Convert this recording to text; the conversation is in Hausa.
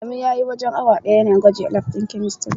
Adamu spent almost an hour testing at the chemistry lab.